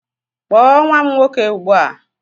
Kpọọ nwa m nwoke ugbu a!